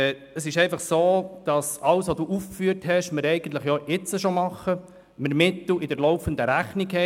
Es ist einfach so, dass wir alles, was Sie aufgeführt haben, eigentlich jetzt schon machen und die Mittel in der laufenden Rechnung haben.